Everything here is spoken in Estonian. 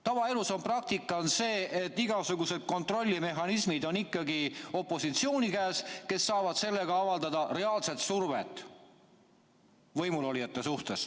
Tavaelus on praktika ikkagi see, et igasugused kontrollimehhanismid on ikkagi opositsiooni käes, kes saavad sellega avaldada reaalset survet võimulolijate suhtes.